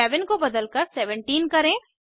11 को बदलकर 17 करें